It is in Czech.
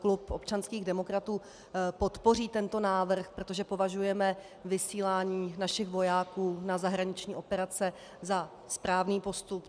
Klub občanských demokratů podpoří tento návrh, protože považujeme vysílání našich vojáků na zahraniční operace za správný postup.